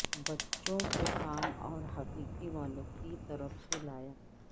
بچوں کو کام اور حقیقی والو کی طرف سے لایا